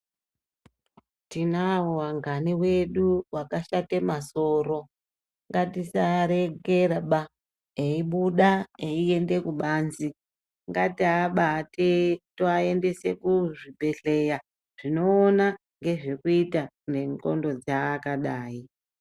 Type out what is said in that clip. Tinawo angani edu akashate masoro ngatisaarekera baa eibuda eiende kubanze ngatiabate towaendese kuzvibhedhleya zvinoona ngezvekuita ngendxondo dzeakadai.